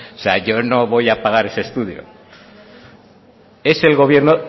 sea yo no voy a pagar ese estudio es el gobierno